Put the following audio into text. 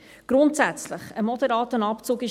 Grundsätzlich ist ein moderater Abzug richtig.